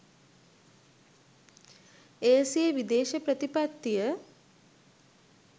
එය සිය විදේශ ප්‍රතිපත්තිය